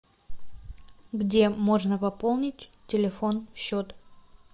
где можно пополнить телефон счет